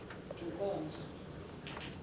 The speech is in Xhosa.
inkonzo